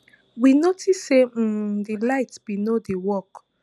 we notice say um di lights bin no dey work